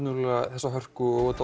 þessa hörku og